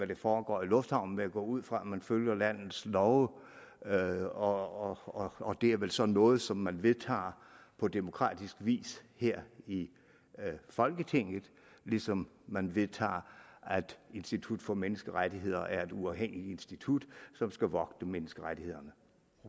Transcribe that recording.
der foregår i lufthavnen men jeg går ud fra at man følger landets love love og det er vel så noget som man vedtager på demokratisk vis her i folketinget ligesom man vedtager at institut for menneskerettigheder er et uafhængigt institut som skal vogte menneskerettighederne